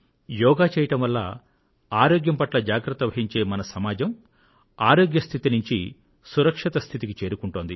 యోగా చేయడం వల్ల ఆరోగ్యం పట్ల జాగ్రత్త వహించే మన సమాజం ఆరోగ్య స్థితి నుండి సురక్షిత స్థితికి చేరుకుంటోంది